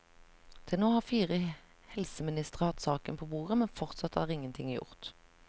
Til nå har fire helseministre hatt saken på bordet, men fortsatt er ingenting gjort.